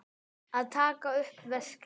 Að taka upp veskið.